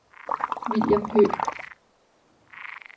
William Høgh